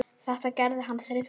Þetta gerði hann þrisvar sinnum.